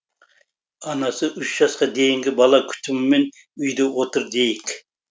анасы үш жасқа дейінгі бала күтімімен үйде отыр дейік